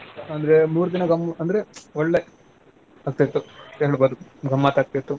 ಅಂದ್ರೆ ಮೂರು ದಿನಾ ಗಮ್~ ಅಂದ್ರೆ ಒಳ್ಳೇ ಆಕ್ತಿತ್ತು ಗಮ್ಮತ್ ಆಗ್ತಿತ್ತು.